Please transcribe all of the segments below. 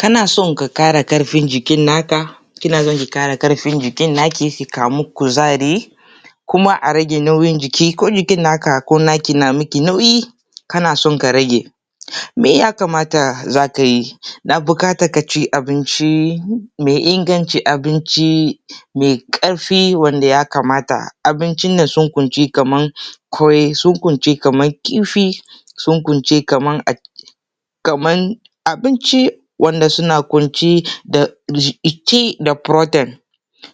Kana son ka ƙara ƙarfin jikinka, kina so ki ƙara ƙarfin jikinki ki samu kuzari kuma a rage nauyi jiki ko jiki na miki nauyi kana son ka rage. Ya kamata za ka yi na buƙatar ka ci abincin mai inganci, abinci mai ƙarfi da ya kamata, abinci da suka ƙunshi kamar kwai, sun ƙunshi kamar kifi, sun ƙunshi kamar abinci wanda sukan ƙunshi gina jiki da protein,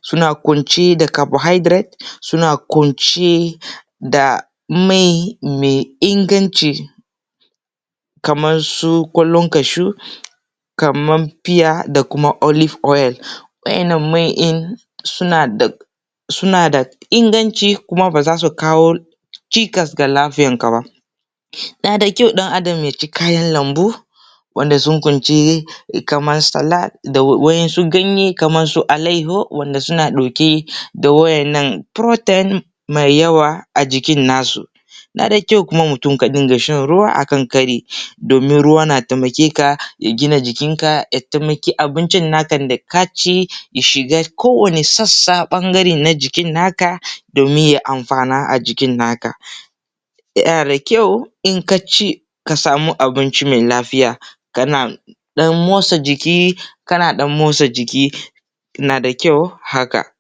sun ƙunshi da carbohydrate, sun ƙunshi da mai mai inganci kamar su kwallon kashu kamar fita da kuma Olive oil. Waɗannan mai ɗin suna da inganci su kawo cikas da lafiyarka ba. Yana da kyau ɗan Adam ya ci kayan lambu wanda sun kunshi kamar salata kamar su alaiyahu wanda suke ɗauke da waɗannan protein mai yawa a jikin nasu. Yana kyau mutum ya riƙa shan ruwa domin ruwa yana taimakonka ya gunar da jikinka, ya taimaki abincin naka da ka ci ya shiga kowanne sassa na jikin naka domin ya amfana a jikin naka. Yana da kyau idan ka ci ka sami abinci mai lafiya kana ɗan motsa jiki na da kyau haka.